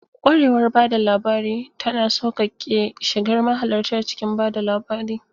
Kwarewar ba da labari tana sauƙaƙe shigar mahalarta cikin ba da labari.